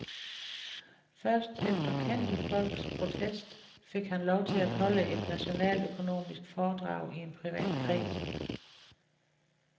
Først efter kendte folks protest fik han lov til at holde et nationaløkonomisk foredrag i en privat kreds.